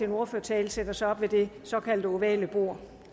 en ordførertale sætter sig op ved det såkaldt ovale bord